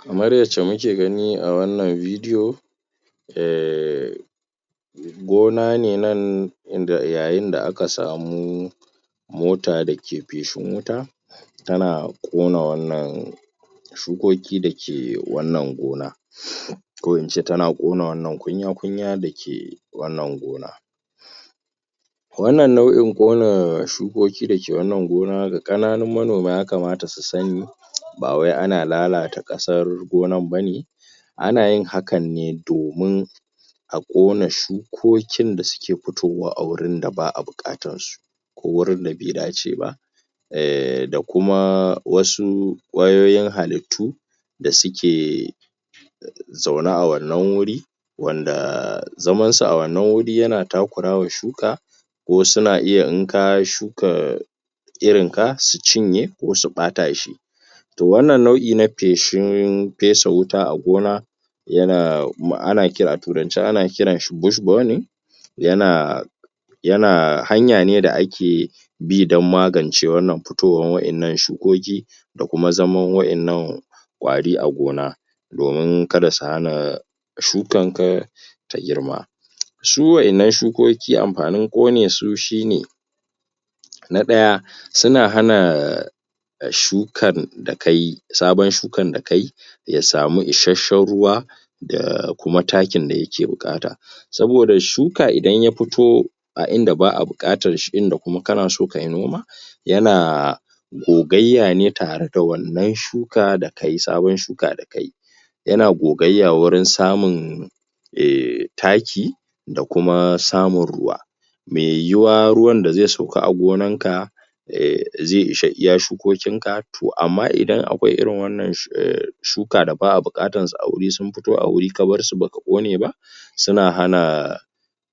kamar yacce muke gani a wannan bidio um gona ne nan inda yayin da aka samu mota dake feshin wuta tana ƙona wannan shukoki dake wannan gona um ko ince tana ƙona wannan kunyan kunya dake wannan gona wannan nau'in ƙona shu koki dake wannan gona ga ƙananun manoma yakamata su sani bawai ana lalata ƙasan gonan bane anayin hakanne domin aƙona shuko kin dasuke fitowa a inda ba'a buƙatansu ko gurin da be daceba eh da kuma wasu ƙwayoyin halittu da suke zaune a wannan guri wanda zaman su a wannan guri yana takurawa shuka ko suna iya in ka shuka irinka su cinye ko su ɓatashi to wannan nau'in na feshin fesa wuta a gona yana ana kira a turance bush burning yana yana hanyane da ake bi dan magance wayannan shukoki dakuma zaman waɗannan ƙwari a gona domin kada su hana shukanka ta girma shi wayannan shukoki amfani ƙonesu shine na ɗaya suna hana shukan da kayi saban shukan da kayi yasamu ishe shan ruwa da kuma takin da yake buƙata saboda shuka idan ya fito a inda ba'a buƙatanshi inda kuma kanaso kai noma yana gogayya ne tare da wannan shuka da kayi saban shuka da kayi yana gogayya gurin samun eh taki da kuma samun ruwa me yiyuwa ruwan da ze sauka a gonan ka eh ze isa iya shukokin ka to amma idan akwai irin wannan shu eh shuka da ba'a buƙatan su aguri sun fito aguri kabar su baka ƙoneba suna hana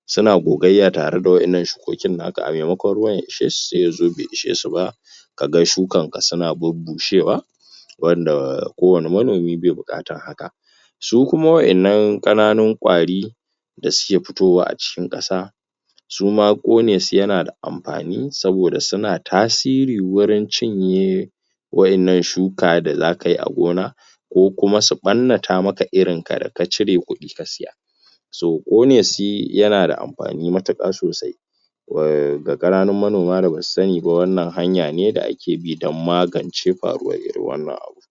suna gogayya tare da wannan shukokin naka ame mako ruwan ya ishesu se yazo be ishe su ba kaga shukan ka suna bubushewa wanda ko wani manomi be buƙatan haka sukuma wayannan ƙananin ƙwari da suke fitowa acikin ƙasa suma ƙonesu yanada amfani saboda suna tasiri gurin cinye wayannan shuka da zakayi a gona ko kuma suyi ɓannata maka irinka da kacire kuɗi kasiya so ƙoneshi yanada amfani matuƙa sosai eh ga ƙananun manoma da basu saniba wannan hanyane da a ke dan magance fariwan irin wannan abun